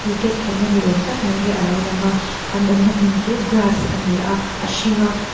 khelh na ni awm tak mai hi a lo lang a an awm na hmun chu grass a ni a a hring a.